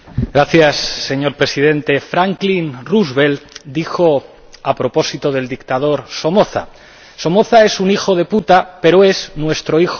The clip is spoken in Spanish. Señor Presidente, Franklin Roosevelt dijo a propósito del dictador Somoza Somoza es un hijo de puta, pero es nuestro hijo de puta.